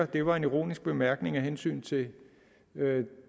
det var en ironisk bemærkning af hensyn til